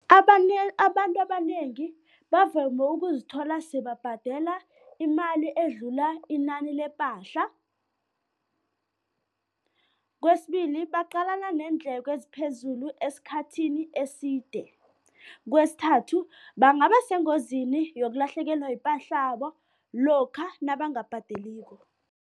Abanye abantu abanengi bavame ukuzithola sebabhadela imali edlula inani lepahla. Kwesibili, baqalana neendleko eziphezulu esikhathini eside. Kwesithathu bangaba sengozini yokulahlekelwa ipahlabo lokha nabangabhadeliko.